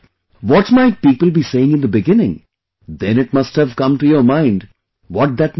What people might be saying in the beginning, then it must have come to your mind, what that meant